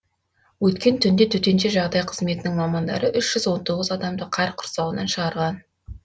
өткен түнде төтенше жағдай қызметінің мамандары үш жүз он тоғыз адамды қар құрсауынан шығарған